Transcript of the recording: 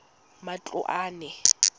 matloane